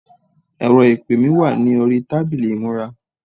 ẹrọ ìpè mi wà ní orí tábìlì ìmúra